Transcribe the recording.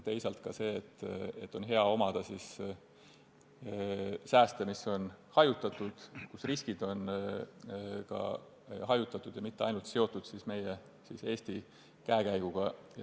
Teisalt on hea omada sääste, mis on hajutatud ja mille korral ka riskid on hajutatud, mitte seotud ainult meie, Eesti käekäiguga.